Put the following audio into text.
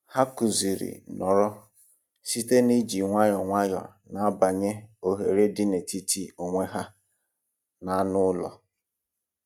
Ha kụziri "nọrọ" site n'iji nwayọ nwayọ na-abawanye ohere dị n'etiti onwe ha na anụ ụlọ.